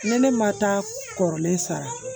Ne ne ma taa kɔrɔlen sa